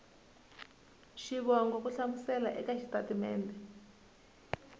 xivongo ku hlamusela eka xitatimede